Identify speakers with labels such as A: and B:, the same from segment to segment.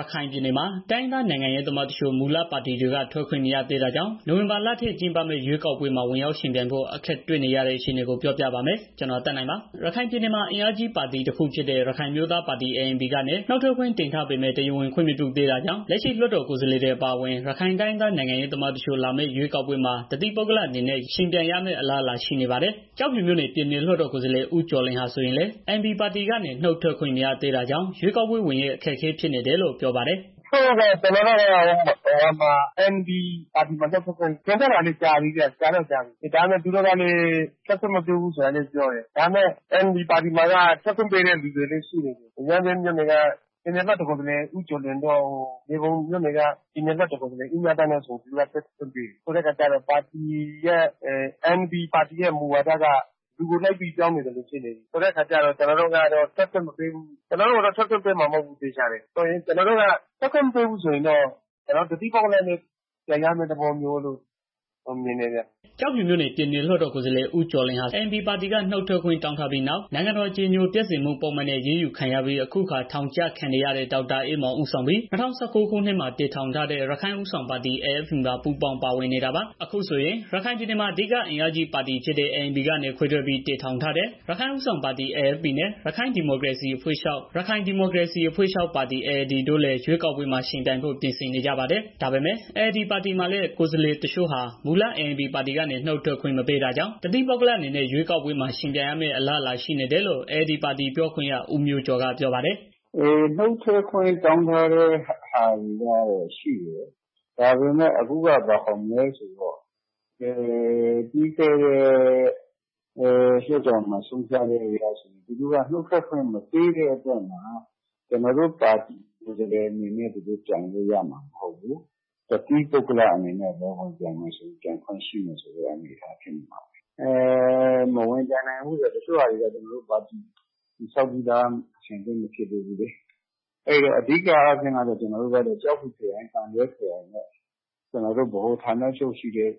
A: ရခိုင်ပြည်နယ်မှာ တိုင်းရင်းသား နိုင်ငံရေးသမားတချို့ မူလပါတီတွေက ထွက်ခွင့် မရသေးတာကြောင့် နိုဝင်ဘာလထဲ ကျင်းပမယ့် ရွေးကောက်ပွဲမှာ ဝင်ရောက်ယှဉ်ပြိုင်ဖို့ အခက်တွေ့နေရတဲ့ အခြေအနေကို ပြောပြပါမယ်။ ဗွီအိုအေမြန်မာပိုင်းသတင်းထောက် ကိုသက်နိုင်က တင်ပြပေးထားပါတယ်။ ရခိုင်ပြည်နယ်မှာ အင်အားကြီးပါတီတစ်ခုဖြစ်တဲ့ ရခိုင်အမျိုးသားပါတီ ပါတီကနေ နုတ်ခွင့်တင်ထားပေမဲ့ တရားဝင် ခွင့်မပြုသေးတာကြောင့် လက်ရှိလွှတ်တော် ကိုယ်စားလှယ်တွေ အပါအဝင် ရခိုင်တိုင်းရင်းသား နိုင်ငံရေးသမားတချို့ လာမယ့်ရွေးကောက်ပွဲမှာ တစ်သီးပုဂ္ဂလအနေနဲ့ ယှဉ်ပြိုင်ရမယ့် အလားအလာရှိနေပါတယ်။ ကျောက်ဖြူမြို့နယ် ပြည်နယ်လွှတ်တော်ကိုယ်စားလှယ် ဦးကျော်လွင် ဟာဆိုရင်လည်း ANP ပါတီကနေ နုတ်ထွက်ခွင့် မရသေးတာကြောင့် ရွေးကောက်ပွဲဝင်ရေး အခက်အခဲဖြစ်နေတယ်လို့ ပြောပါတယ်။ "ကျနော်တို
B: ့ကတော့ ANP ပါတီမှာ နုတ်ထွက်ခွင့်တင်ထားတ
C: ာလည်း ကြာပြီဗျာ။ ဒါပေမဲ့ သူတို့ကလည်း ထွက်ခွင့်မပြုဘူး ဆိုတာလောက်ပဲပြောတယ်။ ပြီးတော့ ANP ပါတီမှာက ထွက်ခွင့်ပေးတဲ့ လူတွေလည်း ရှိနေပြီ ရမ်းဗြဲမြို့နယ်က ပြည်နယ်လွှတ်တော်ကိုယ်စားလှယ် ဦးကျော်လွင်တို့ မြေပုံမြို့နယ်က ပြည်နယ်လွတ်တော် ကိုယ်စားလှယ် ဦးမြသန်းတို့ဆိုရင် သူတို့က ထွက်ခွင့်ပေးတယ်။ ဆိုတော့ခါ ANP ပါတီရဲ့ မူဝါဒက လူကိုလိုက်ပြီး ပြောင်းနေသလို ဖြစ်နေပြီ ဆိုတော့ခါ ကျနော်တို့ကတော့ ထွက်ခွင့်မပေးမှာ မဟုတ်ဘူးသေချာတယ်။ ထွက်ခွင့်မပေးရင်တော့ ကျနော်တို့က တစ်သီးပုဂ္ဂလနဲ့ ပြိုင်ရမယ့် သဘောရှိနေတယ်ဗျာ။
A: " ကျောက်ဖြူမြို့နယ် ပြည်နယ်လွှတ်တော်ကိုယ်စားလှယ် ဦးကျော်လွင် ဟာ ANP ပါတီက နုတ်ထွက်ခွင့် တောင်းထားပြီးနောက်၊ နိုင်ငံတော် အကြည်ညိုပျက်စေမှု ပုဒ်မနဲ့ အရေးယူခံရပြီး အခုအခါ ထောင်ဒဏ်ကျခံနေရတဲ့ ဒေါက်တာအေးမောင် ဦးဆောင်ပြီး ၂၀၁၉ ခုနှစ်မှာ တည်ထောင်ထားတဲ့ ရခိုင့်ဦးဆောင်ပါတီ မှာ ပူးပေါင်းပါဝင်နေတာပါ။ အခုဆိုရင် ရခိုင်ပြည်နယ်မှာ အဓိကပါတီကြီးဖြစ်တဲ့ ANP က ခွဲထွက်ပြီး တည်ထောင်ထားတဲ့ AFP ပါတီနဲ့ ရခိုင်ဒီမိုကရေစီအဖွဲ့ချုပ်ပါတီ ပါတီ တို့လည်း ရွေးကောက်ပွဲမှာ ယှဉ်ပြိုင်ဖို့ ပြင်ဆင်နေကြပါတယ်။ ဒါပေမဲ့ ALD ပါတီမှာလည်း ကိုယ်စားလှယ်တစ်ချို့ဟာ မူလ ANP ပါတီကနေ နုတ်ထွက်ခွင့်မပေးတာကြောင့် တစ်သီးပုဂ္ဂလအနေနဲ့ ရွေးကောက်ပွဲမှာ ယှဉ်ပြိုင်ရမယ့် အလားအလာာ ရှိနေတယ်လို့ ALD ပါတီ ပြောခွင့်ရ ဦးမျိုးကျော်က ပြောပါတယ်
C: ။ "နုတ်ထွက်ခွင့်တောင်းထားတာတွေတော့ ရှိတယ်။ အခုက ဘယ်ဆိုမလဲဆိုတော့ ပြီးခဲ့တဲ့ လွတ်တော်မှာ ဆုံးဖြတ်ချက်အရဆိုရင် ကျနော်တို့ ပါတီကိုယ်စားလှယ်အနေနဲ့သူတို့ပြိုင်လို့ရမှာမဟုတ်ဘူး။ တစ်သီးပုဂ္ဂလ အနေနဲ့ပဲ ပြိုင်လို့ရမယ့် အနေအထားမှာရှိနေတယ်။ ပြီးတော့ တချို့နေရာတွေမှာလည်း ကျနော်တို့က ပါတီတည်ဆောင်ပြီးသား အဆင်သင့်မရှိသေးတဲ့ အခါကျတော့ ကျနော်တို့က ကျောက်ဖြူခရိုင် သံတွဲခရိုင်နဲ့ ကျနော်တို့ ဌာနချုပ်ရှိတဲ့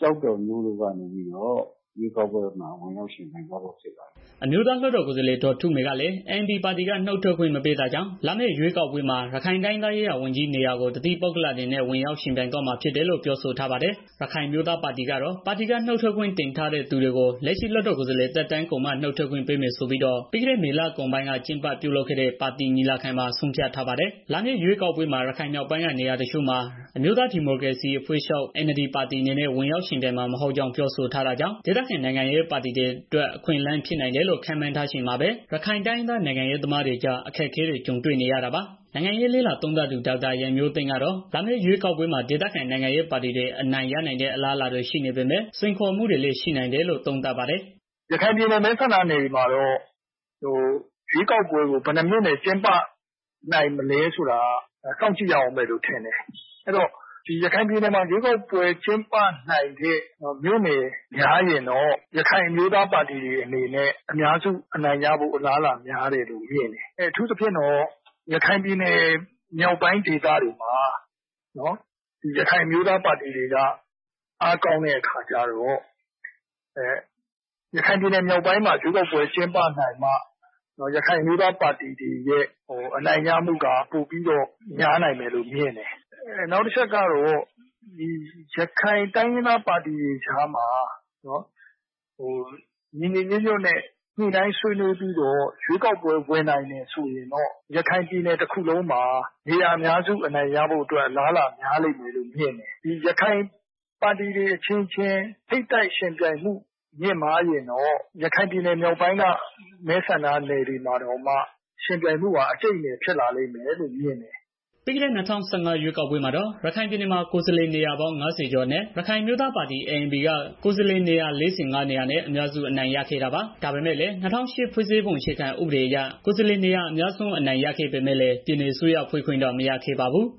C: ကျောက်တော်မြို့ကနေပြီးတော့ ရွေးကောက်ပွဲ ဝင်ရောက်ယှဉ်ပြိုင်သွားဖို့ ရှိပါတယ်။
A: " အမျိုးသားလွှတ်တော်ကိုယ်စားလှယ် ဒေါ်ထုမေကလည်း ANP ပါတီက နုတ်ထွက်ခွင့်မပေးတာကြောင့် လာမည့် ရွေးကောက်ပွဲမှာ ရခိုင်တိုင်းရင်းသားရေးရာ ဝန်ကြီးနေရာကို တစ်သီးပုဂ္ဂလအနေနဲ့ ဝင်ရောက်ယှဉ်သွားမှာ ဖြစ်တယ်လို့ ပြောဆိုထားပါတယ်။ ရခိုင်အမျိုးသားပါတီကတော့ ပါတီက နုတ်ထွက်ခွင့်တင်ထားတဲ့ သူတွေကို လက်ရှိ လွှတ်တော်ကိုယ်စားလှယ်သက်တမ်းကုန်မှ နုတ်ထွက်ခွင့်ပေးမယ်ဆိုပြီးတော့ ပြီးခဲ့တဲ့ မေလကုန်ပိုင်းက ကျင်းပပြုလုပ်ခဲ့တဲ့ ပါတီညီလာခံမှာ ဆုံးဖြတ်ထားပါတယ်။ လာမယ့် ရွေးကောက်ပွဲမှာ ရခိုင်မြောက်ပိုင်းက နေရာတချို့မှာ အမျိုးသားဒီမိုကရေစီအဖွဲ့ချုပ် ပါတီအနေ နဲ့ ဝင်ရောက်ယှဉ်ပြိုင်မှာ မဟုတ်ကြောင်း ပြောဆိုထားတာကြောင့် ဒေသခံနိုင်ငံရေးပါတီတွေအတွက် အခွင့်အလမ်း ဖြစ်နိုင်တယ်လို့ ခန့်မှန်းထားချိန်မှာပဲ ရခိုင်တိုင်းရင်းသား နိုင်ငံရေးသမားတွေကြား အခက်အခဲတွေ ကြုံနေရတာပါ။ နိုင်ငံရေး လေ့လာသုံးသပ်သူ ဒေါက်တာရန်မျိုးသိန်းကတော့ လာမယ့်ရွေးကောက်ပွဲမှာ ဒေသခံနိုင်ငံရေးပါတီတွေ အနိုင်ရနိုင်တဲ့ အလားအလာတွေ ရှိနေပေမဲ့ စိမ်ခေါ်မှုတွေလည်း ရှိနိုင်တယ်လို့ သုံးသပ်ပါတယ်။ "ရခိုင်ပြည်နယ် မဲဆန္ဒနယ်တွေမှာတော့ ရွေးကောက်ပွဲကို ဘယ်နှစ်မြို့နယ် ကျင်းပနိုင်မလဲ ဆိုတာကိ
B: ုတော့ စောင့်ကြည့်ရအုံးမယ်လို့ ထင်တယ်။ ရခိုင်ပြည်နယ်မှာ ရွေးကောက်ပွဲ ကျင်းပနိုင်တဲ့ မြို့နယ်တွေ များရင်တော့ ရခိုင်အမျိုးသားပါတီတွေ အနေနဲ့ အများစုအနိုင်ရနိုင်တယ်။ အထူးသဖြင့်တော့ ရခိုင်ပြည်နယ်မြောက်ပိုင်းဒေသတွေ ရခိုင်အမျိုးသားပါတီတွေက အားကောင်းတဲ့ အခါကျတော့ မြောက်ပိုင်းမှာ ကျင်းပနိုင်မှ ရခိုင်တိုင်းရင်းသားပါတီတွေရဲ့ အနိုင်ရမှုက ပိုပြီးတော့ များနိုင်မယ်။ နောက်တစ်ခုက ရခိုင်တိုင်းရင်းသား ပါတီတွေကြားမှာ ညီညီညွှတ်ညွှတ်နဲ့ ရွေးကောက်ပွဲ ဝင်နိုင်မယ်ဆိုရင်တော့ ရခိုင်ပြည်နယ် တစ်ခုလုံးမှာ နေရာများစု အနိုင်ရဖို့ အလားအလာရှိတယ်။ ရခိုင်ပါတီတွေ အချင်းချင်းထိပ်တိုက်ရင်ဆိုင်ရင်တော့ မြောက်ပိုင်းမဲဆန္ဒနယ်တွေမှာ အကြိုက်အနယ် ယှဉ်ရမယ့် သဘောရှိတယ်။"
A: ပြီးခဲ့တဲ့ ၂၀၁၅ ရွေးကောက်ပွဲမှာတော့ ရခိုင်ပြည်နယ်မှာ ကိုယ်စားလှယ်နေရာပေါင်း ၅၀ ကျော်အနက် ရခိုင်အမျိုးသားပါတီ က ကိုယ်စားလှယ်နေရာ ၄၅ နေရာနဲ့ အများစု အနိုင်ရခဲ့တာပါ။ ဒါပေမဲ့လည်း ၂၀၀၈ ခုနှစ် ဖွဲ့စည်းပုံ အခြေခံဥပဒေအရ ကိုယ်စားလှယ်နေရာ အများစု အနိုင်ရပေမဲ့လည်း ပြည်နယ်အစိုးရဖွဲ့ခွင့်တော့ မရခဲ့ပါဘူး။